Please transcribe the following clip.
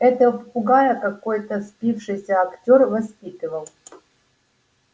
этого попугая какой-то спившийся актёр воспитывал